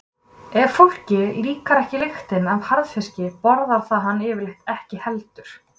Ef fólki líkar ekki lyktin af harðfiski borðar það hann yfirleitt ekki heldur.